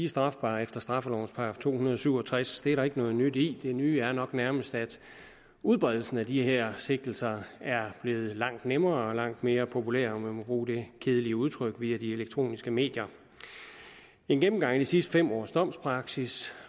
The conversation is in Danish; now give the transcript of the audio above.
strafbare efter straffelovens § to hundrede og syv og tres det er der ikke noget nyt i det nye er nok nærmest at udbredelsen af de her sigtelser er blevet langt nemmere og langt mere populær om man må bruge det kedelige udtryk via de elektroniske medier en gennemgang af de sidste fem års domspraksis